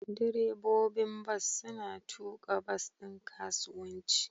Direbobin bas suna tuka bas ɗin kasuwanci.